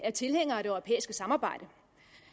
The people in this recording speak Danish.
er tilhænger af det europæiske samarbejde